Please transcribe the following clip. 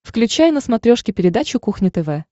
включай на смотрешке передачу кухня тв